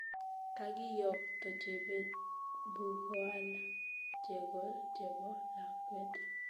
Kagiyokto Chebet bukoal chego chebo lakwet